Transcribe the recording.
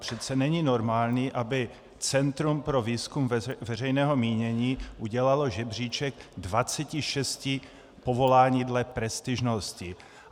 Přece není normální, aby Centrum pro výzkum veřejného mínění udělalo řebříček 26 povolání dle prestižnosti.